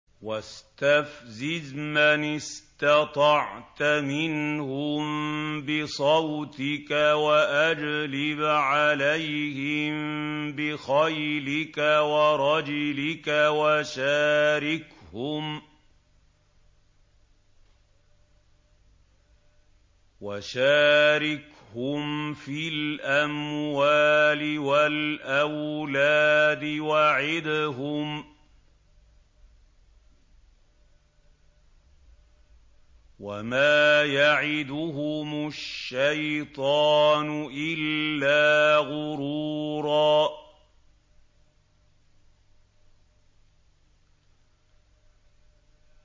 وَاسْتَفْزِزْ مَنِ اسْتَطَعْتَ مِنْهُم بِصَوْتِكَ وَأَجْلِبْ عَلَيْهِم بِخَيْلِكَ وَرَجِلِكَ وَشَارِكْهُمْ فِي الْأَمْوَالِ وَالْأَوْلَادِ وَعِدْهُمْ ۚ وَمَا يَعِدُهُمُ الشَّيْطَانُ إِلَّا غُرُورًا